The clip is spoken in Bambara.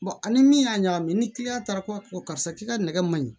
ani min y'a ɲagami ni kiliyan taara ko karisa k'i ka nɛgɛ man ɲi